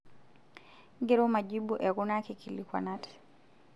Ngero majibu e kuna kikilikuanat.